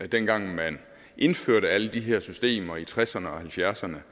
dengang man indførte alle de her systemer i tresserne og halvfjerdserne